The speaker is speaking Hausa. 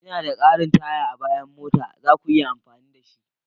Ina da ƙarin taya a bayan mota, za ku iya amfani da shi.